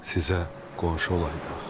Sizə qonşu olaydıq.